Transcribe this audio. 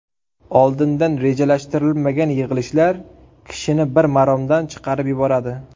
Oldindan rejalashtirilmagan yig‘ilishlar kishini bir maromdan chiqarib yuboradi.